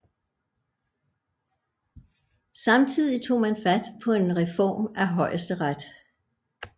Samtidig tog man fat på en reform af Højesteret